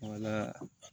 Wala